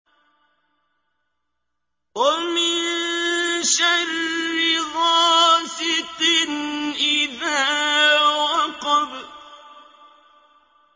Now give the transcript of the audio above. وَمِن شَرِّ غَاسِقٍ إِذَا وَقَبَ